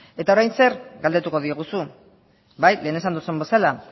eta orain zer galdetuko diguzu bai lehen esan duzun bezala